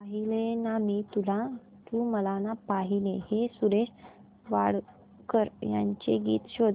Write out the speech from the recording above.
पाहिले ना मी तुला तू मला ना पाहिले हे सुरेश वाडकर यांचे गीत शोध